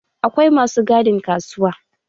Akwai masu gadin kasuwa